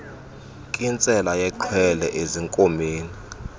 nkintsela yexhwele ezinkomeni